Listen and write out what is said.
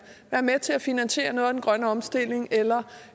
være med til at finansiere noget af den grønne omstilling eller